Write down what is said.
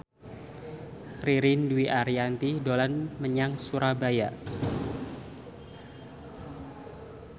Ririn Dwi Ariyanti dolan menyang Surabaya